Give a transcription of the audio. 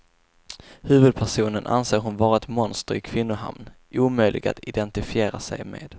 Huvudpersonen anser hon vara ett monster i kvinnohamn, omöjlig att identifiera sig med.